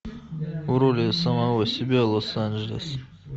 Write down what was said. в роли самого себя лос анджелес